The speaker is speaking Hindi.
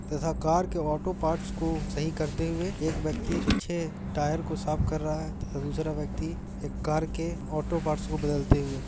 तथा कार के आटो पार्ट्स को सही करते हुए एक व्यक्ति पीछे टायर को साफ कर रहा है तथा दूसरा व्यक्ति एक कार के ओटो पार्ट्स को बदलते हुए --